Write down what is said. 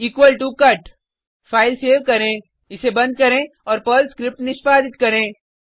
equal to cut file save करें इसे बंद करें और पर्ल स्क्रिप्ट निष्पादित करें